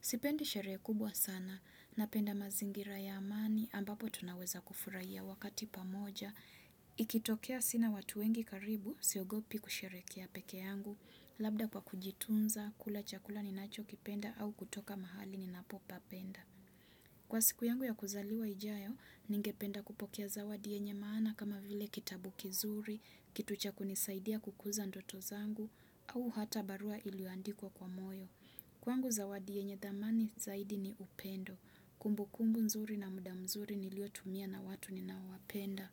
Sipendi sherehe kubwa sana napenda mazingira ya amani ambapo tunaweza kufurahia wakati pamoja. Ikitokea sina watu wengi karibu siogopi kusherekea pekee yangu labda kwa kujitunza kula chakula ninachokipenda au kutoka mahali ninapopapenda. Kwa siku yangu ya kuzaliwa ijayo, ningependa kupokiae zawadi yenye maana kama vile kitabu kizuri, kitu cha kunisaidia kukuza ndoto zangu, au hata barua iliyoandikwa kwa moyo. Kwangu zawadi yenye dhamani zaidi ni upendo. Kumbu kumbu mzuri na muda mzuri nilio tumia na watu ni nawapenda.